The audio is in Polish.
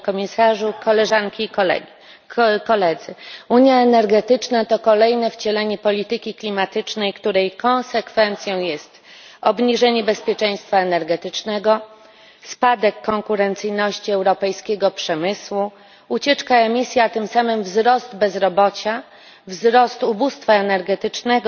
Unia energetyczna to kolejne wcielenie polityki klimatycznej, której konsekwencją jest obniżenie bezpieczeństwa energetycznego, spadek konkurencyjności europejskiego przemysłu, ucieczka emisji, a tym samym wzrost bezrobocia, wzrost ubóstwa energetycznego,